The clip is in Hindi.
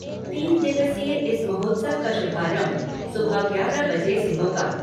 तीन दिवसीय इस महोत्सव का शुभारंभ सुबह ग्यारह बजे से होगा।